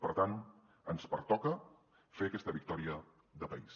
per tant ens pertoca fer aquesta victòria de país